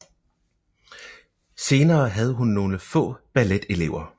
Senere havde hun nogle få balletelever